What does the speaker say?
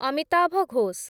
Amitabh Ghosh